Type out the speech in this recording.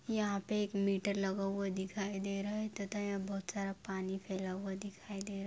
यंहा पे एक मीटर लगा हुआ दिखाई है तथा यहां बहुत सारा पानी फैला हुआ दिखाई दे रा --